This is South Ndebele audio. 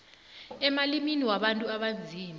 emalimini wabantu abanzima